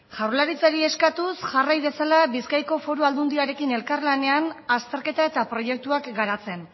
jaurlaritza eskatuz jarrai dezala bizkaiko foru aldundiarekin elkarlanean azterketa eta proiektuak garatzen